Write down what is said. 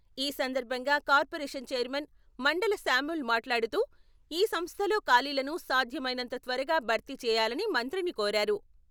ఈ సందర్భంగా corporation chairman మండల శామ్యూల్ మాట్లాడుతూ ఈ సంస్థలో ఖాళీలను సాధ్యమైనంత త్వరగా భర్తీ చేయాలని మంత్రిని కోరారు.